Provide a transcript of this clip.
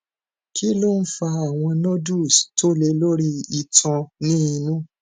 kí ló ń fa àwọn nodules tó le lori itan ni inù